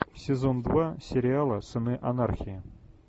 сезон два сериала сыны анархии